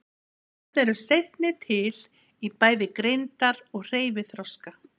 Þessi börn eru seinni til í bæði greindar- og hreyfiþroska.